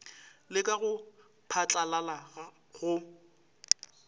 le ka go phatlalala go